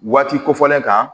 Waati kofɔlen kan